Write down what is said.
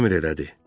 Əmr elədi.